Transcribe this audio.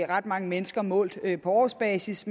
ret mange mennesker målt på årsbasis